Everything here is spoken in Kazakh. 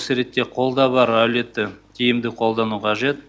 осы ретте қолда бар әлеуетті тиімді қолдану қажет